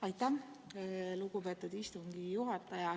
Aitäh, lugupeetud istungi juhataja!